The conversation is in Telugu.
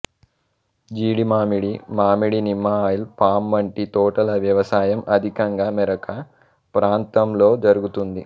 జీడిమామిడి మామిడి నిమ్మ ఆయిల్ పామ్ వంటి తోటల వ్యవసాయం అధికంగా మెరక ప్రాంతంలో జరుగుతుంది